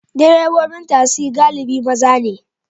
Direbobin tasi galibi maza ne.